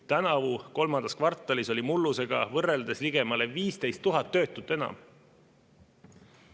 Tänavu kolmandas kvartalis oli mullusega võrreldes ligemale 15 000 töötut enam.